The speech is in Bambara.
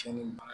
Cɛnni mara